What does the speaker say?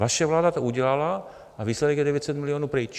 Vaše vláda to udělala a výsledek je 900 milionů pryč.